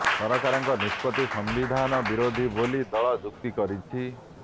ସରକାରଙ୍କ ନିଷ୍ପତି ସମ୍ବିଧାନ ବିରୋଧୀ ବୋଲି ଦଳ ଯୁକ୍ତି କରିଛି